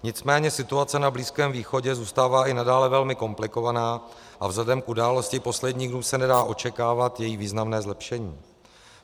Nicméně situace na Blízkém východě zůstává i nadále velmi komplikovaná a vzhledem k událostem posledních dnů se nedá očekávat její významné zlepšení.